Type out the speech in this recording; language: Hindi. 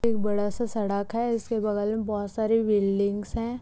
एक बड़ा सा सड़क है जिसके बगल में बहोत सारी बिल्डिंग्स है।